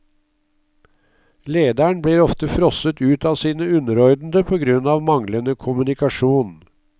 Lederen blir ofte frosset ut av sine underordnede på grunn av manglende kommunikasjon.